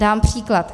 Dám příklad.